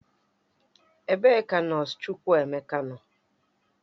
Ebe ka nọọsụ Chukwuemeka nọ?